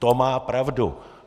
To má pravdu.